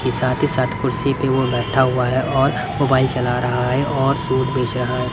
के साथ ही साथ कुर्सी पर वो बैठा हुआ है और मोबाइल चला रहा है और सूट बेच रहा है.